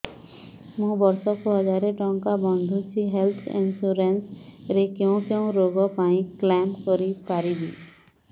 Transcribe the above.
ମୁଁ ବର୍ଷ କୁ ହଜାର ଟଙ୍କା ବାନ୍ଧୁଛି ହେଲ୍ଥ ଇନ୍ସୁରାନ୍ସ ରେ କୋଉ କୋଉ ରୋଗ ପାଇଁ କ୍ଳେମ କରିପାରିବି